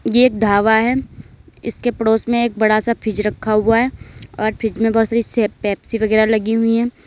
ये ढाबा है इसके पड़ोस में एक बड़ा सा फ्रिज रखा हुआ है और फ्रिज में बहोत सारी पेप्सी वगैरा लगी हुई है।